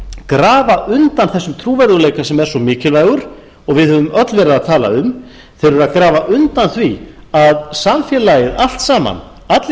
grafa undan þessum trúverðugleika sem er svo mikilvægur og við höfum öll verið að tala um þeir eru að grafa undan því að samfélagið allt saman allir